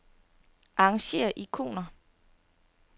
Arrangér ikoner.